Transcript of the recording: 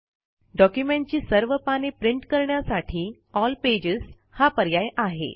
डॉक्युमेंटची सर्व पाने प्रिंट करण्यासाठी एल पेजेस हा पर्याय आहे